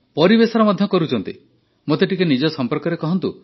ପରିବେଶର ମଧ୍ୟ କରୁଛନ୍ତି ମୋତେ ଟିକିଏ ନିଜ ସମ୍ପର୍କରେ କହନ୍ତୁ